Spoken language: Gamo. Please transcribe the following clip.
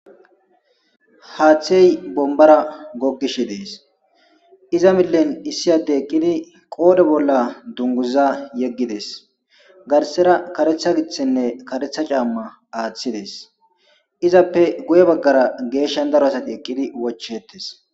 haaththey bombara gogishe dees iza millen issi adey eqqidi qoodhe bolla dunguza yeggides garsera karetha giththenne karetha caamma aaththi dees izappe guye baggara geeshshan daro asati eqqidi wochettes